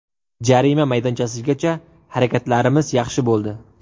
Jarima maydonchasigacha harakatlarimiz yaxshi bo‘ldi.